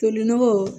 Toli nɔgɔ